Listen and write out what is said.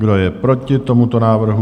Kdo je proti tomuto návrhu?